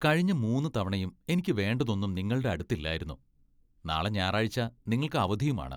കഴിഞ്ഞ മൂന്ന് തവണയും എനിക്ക് വേണ്ടതൊന്നും നിങ്ങളുടെ അടുത്തില്ലായിരുന്നു ,നാളെ ഞായറാഴ്ച നിങ്ങൾക്ക് അവധിയുമാണ്.